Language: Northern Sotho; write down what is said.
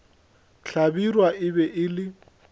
hlabirwa e be e le